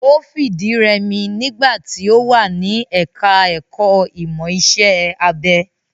Ó fìdírẹmi nígbà tí ó wà ní ẹka ẹ̀kọ́ ìmọ̀ iṣẹ́ abẹ.